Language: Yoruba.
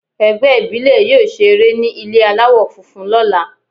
Ẹgbẹ́ ìbílè yóò ṣe eré ní ilé aláwọ̀ funfun lọ́la.